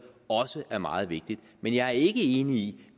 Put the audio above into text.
også er meget vigtigt men jeg er ikke enig i